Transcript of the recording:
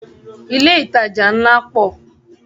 Ilé ìtajà ńlá pọ̀.